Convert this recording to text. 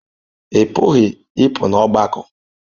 Ị pụghị ịpụ n'ọgbakọ.